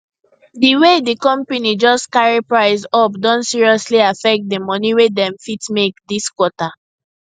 di way di company just carry price up don seriously affect di money wey dem fit make this quarter